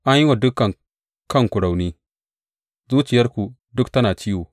An yi wa dukan kanku rauni, zuciyarku duk tana ciwo.